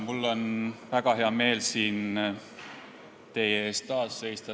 Mul on väga hea meel taas siin teie ees seista.